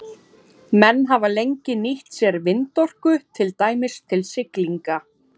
Menn hafa lengi nýtt sér vindorku, til dæmis til siglinga.